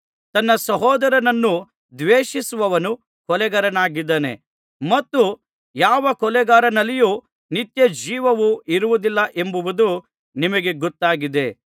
ತನ್ನ ಸಹೋದರನನ್ನು ದ್ವೇಷಿಸುವವನು ಕೊಲೆಗಾರನಾಗಿದ್ದಾನೆ ಮತ್ತು ಯಾವ ಕೊಲೆಗಾರನಲ್ಲಿಯೂ ನಿತ್ಯಜೀವವು ಇರುವುದಿಲ್ಲವೆಂಬುದು ನಿಮಗೆ ಗೊತ್ತಾಗಿದೆ